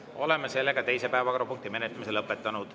Oleme teise päevakorrapunkti menetlemise lõpetanud.